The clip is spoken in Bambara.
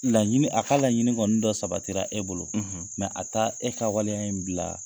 Laɲini, a k'a laɲinin kɔni dɔ sabatira e bolo, , mɛ a t'a e ka waleya in bila.